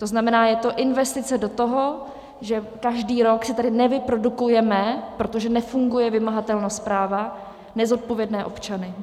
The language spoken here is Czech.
To znamená, je to investice do toho, že každý rok si tady nevyprodukujeme, protože nefunguje vymahatelnost práva, nezodpovědné občany.